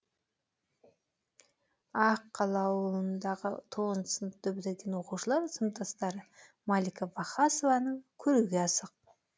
ақ қала ауылындағы тоғызыншы сыныпты бітірген оқушы сыныптастары малика вахасованы көруге асық